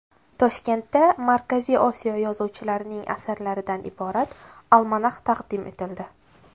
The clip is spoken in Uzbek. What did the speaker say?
Toshkentda Markaziy Osiyo yozuvchilarining asarlaridan iborat almanax taqdim etildi.